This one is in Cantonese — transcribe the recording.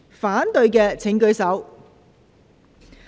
反對的請舉手。